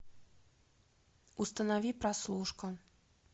установи прослушку